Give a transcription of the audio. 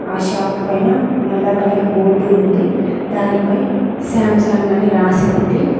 ఆ షాప్ పైన నల్ల కలర్ బోర్డు ఉంది దానిపై శాంసంగ్ అని రాసి ఉంది.